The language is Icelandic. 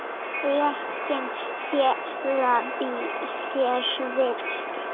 Rökin fela í sér villu.